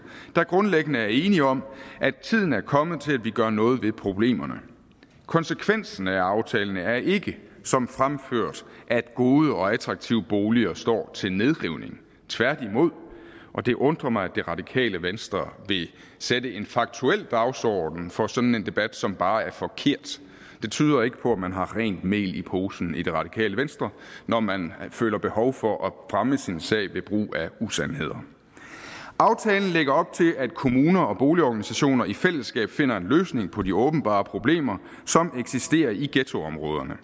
der grundlæggende er enig om at tiden er kommet til at vi gør noget ved problemerne konsekvensen af aftalen er ikke som fremført at gode og attraktive boliger står til nedrivning tværtimod og det undrer mig at det radikale venstre vil sætte en faktuel dagsorden for sådan en debat som bare er forkert det tyder ikke på at man har rent mel i posen i det radikale venstre når man føler behov for at fremme sin sag ved brug af usandheder aftalen lægger op til at kommuner og boligorganisationer i fællesskab finder en løsning på de åbenbare problemer som eksisterer i ghettoområderne